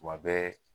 Wa bɛɛ